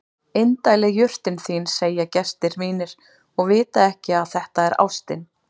Indæl er jurtin þín segja gestir mínir og vita ekki að þetta er ástin.